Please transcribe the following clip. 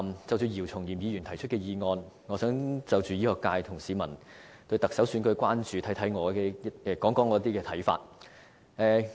就姚松炎議員提出的議案，我想就醫學界和市民對行政長官選舉的關注，談談我的一些看法。